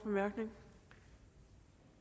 hverv